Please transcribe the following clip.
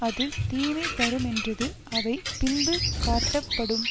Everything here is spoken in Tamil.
அது தீமை தருமென்றது அவை பின்பு காட்டப்படும்